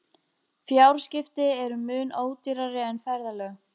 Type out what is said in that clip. Fjarskipti eru mun ódýrari en ferðalög.